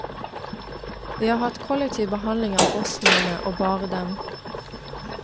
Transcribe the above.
Vi har hatt kollektiv behandling av bosnierne, og bare dem.